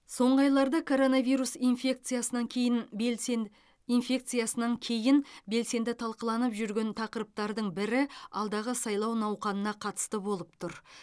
соңғы айларда коронавирус инфекциясынан кейін белсенді инфекциясынан кейін белсенді талқыланып жүрген тақырыптардың бірі алдағы сайлау науқанына қатысты болып тұр